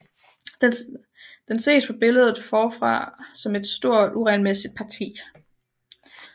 Den ses på billedet forfra som et stort uregelmæssigt parti